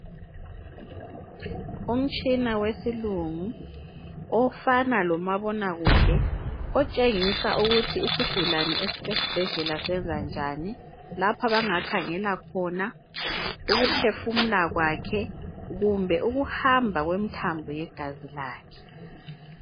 Umtshina wesilungu ofana lomabonakude otshengisa ukuthi isigulane esise sibhedlela senza njani. Lapha abangakhangela khona, ukuphefumula kwakhe kumbe ukuhamba kwemthambo yegazi lakhe.